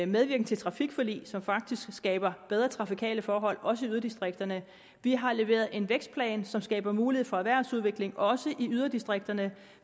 medvirken til trafikforlig som faktisk skaber bedre trafikale forhold også i yderdistrikterne vi har leveret en vækstplan som skaber mulighed for erhvervsudvikling også i yderdistrikterne